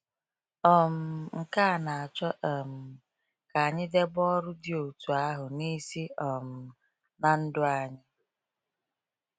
um Nke a na-achọ um ka anyị debe ọrụ dị otú ahụ n’isi um na ndụ anyị.